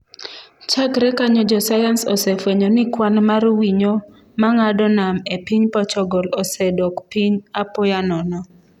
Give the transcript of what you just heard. Chakre kanyo jo sayans osefwenyo ni kwan mar winyo ma ng'ado nam e piny Portugal osedok piny apoya nono.